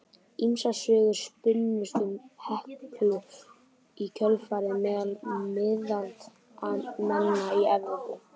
Ýmsar sögur spunnust um Heklu í kjölfarið meðal miðaldamanna í Evrópu.